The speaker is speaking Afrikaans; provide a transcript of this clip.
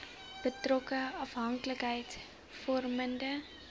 betrokke afhanklikheids vormende